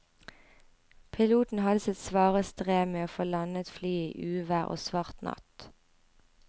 Piloten hadde sitt svare strev med å få landet flyet i uvær og svart natt.